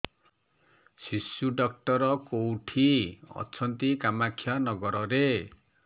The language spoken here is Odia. ଶିଶୁ ଡକ୍ଟର କୋଉଠି ଅଛନ୍ତି କାମାକ୍ଷାନଗରରେ